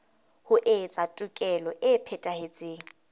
ho etsa tekolo e phethahetseng